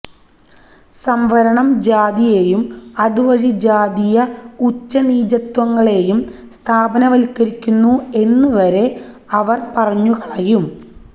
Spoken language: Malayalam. സംവരണം ജാതിയെയും അതുവഴി ജാതീയ ഉച്ചനീചത്വങ്ങളെയും സ്ഥാപനവല്ക്കരിക്കുന്നു എന്നുവരെ അവര് പറഞ്ഞുകളയും